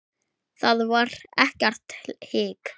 Þar var ekkert hik.